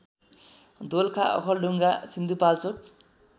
Dolakha Okhaldhunga Sindhupalchok